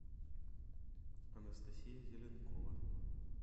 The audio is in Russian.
анастасия зеленкова